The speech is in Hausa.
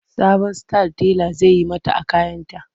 Sabon style tela zai yi mata a kayanta.